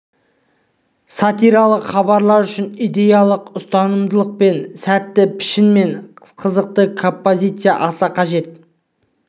сатиралық хабарлар үшін идеялық ұстамдылық сәтті пішін мен қызықты композиция аса қажет